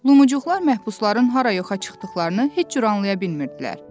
Lumuqlar məhbusların hara yoxa çıxdıqlarını heç cür anlaya bilmirdilər.